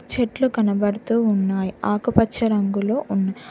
చెట్లు కనబడుతూ ఉన్నాయ్ ఆకుపచ్చ రంగులో ఉన్నా--